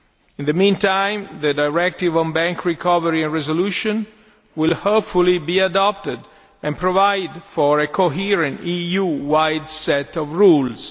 In the meantime, the Directive on Bank Recovery and Resolution will, hopefully, be adopted and will provide for a coherent EU wide set of rules.